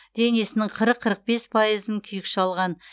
денесінің қырық қырық бес пайызын күйік шалған